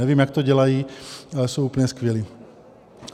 Nevím, jak to dělají, ale jsou úplně skvělí.